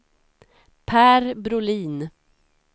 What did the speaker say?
Per Brolin